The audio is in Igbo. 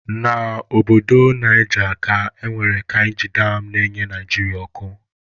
Na Obodo Naija ka e nwere kainji dam na-enye Naịjirịa ọkụ.